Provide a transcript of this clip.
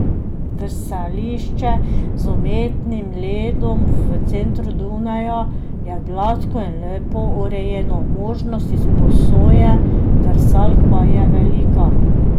Drsališče z umetnim ledom v centru Dunaja je gladko in lepo urejeno, možnost izposoje drsalk pa je velika.